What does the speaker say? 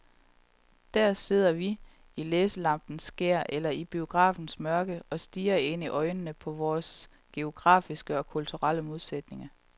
Der sidder vi, i læselampens skær eller i biografens mørke, og stirrer ind i øjnene på vores geografiske og kulturelle modsætninger.